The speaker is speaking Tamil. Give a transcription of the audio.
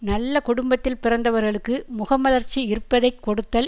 நல்ல குடும்பத்தில் பிறந்தவர்களுக்கு முகமலர்ச்சி இருப்பதை கொடுத்தல்